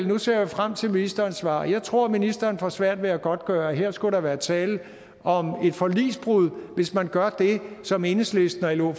nu ser jeg frem til ministerens svar og jeg tror ministeren får svært ved at godtgøre at der her skulle være tale om et forligsbrud hvis man gør det som enhedslisten og lo